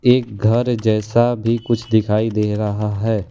एक घर जैसा भी कुछ दिखाई दे रहा है।